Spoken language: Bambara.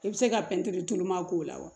I bɛ se ka pɛntiri tuluma k'o la wa